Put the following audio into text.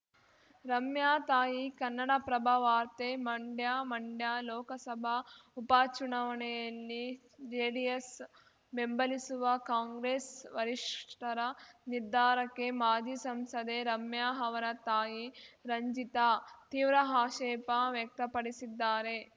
ರಮ್ಯಾ ತಾಯಿ ಕನ್ನಡಪ್ರಭ ವಾರ್ತೆ ಮಂಡ್ಯ ಮಂಡ್ಯ ಲೋಕಸಭಾ ಉಪ ಚುನಾವಣೆಯಲ್ಲಿ ಜೆಡಿಎಸ್‌ ಬೆಂಬಲಿಸುವ ಕಾಂಗ್ರೆಸ್‌ ವರಿಷ್ಠರ ನಿರ್ಧಾರಕ್ಕೆ ಮಾಜಿ ಸಂಸದೆ ರಮ್ಯಾ ಅವರ ತಾಯಿ ರಂಜಿತಾ ತೀವ್ರ ಆಷೇಪ ವ್ಯಕ್ತಪಡಿಸಿದ್ದಾರೆ